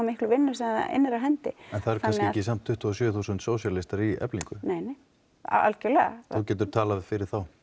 miklu vinnu sem það innir af hendi en það eru kannski ekki tuttugu og sjö þúsund sósíalistar í Eflingu nei nei þú getur talað fyrir þá